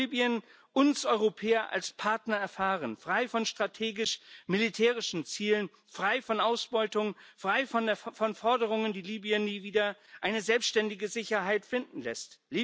Wie kann Libyen uns Europäer als Partner erfahren, frei von strategisch militärischen Zielen, frei von Ausbeutung, frei von Forderungen, die Libyen nie wieder eine selbständige Sicherheit finden lassen?